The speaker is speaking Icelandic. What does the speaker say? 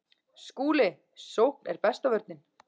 SKÚLI: Sókn er besta vörnin.